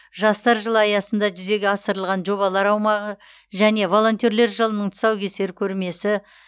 жастар жылы аясында жүзеге асырылған жобалар аумағы және волонтерлер жылының тұсаукесер көрмесі